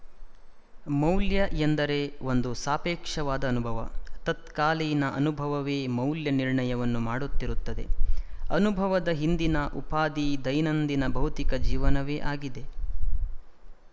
ಮೌಲ್ಯ ಎಂದರೆ ಒಂದು ಸಾಪೇಕ್ಷವಾದ ಅನುಭವ ತತ್ಕಾಲೀನ ಅನುಭವವೇ ಮೌಲ್ಯ ನಿರ್ಣಯವನ್ನು ಮಾಡುತ್ತಿರುತ್ತದೆ ಅನುಭವದ ಹಿಂದಿನ ಉಪಾಧಿ ದೈನಂದಿನ ಭೌತಿಕ ಜೀವನವೇ ಆಗಿದೆ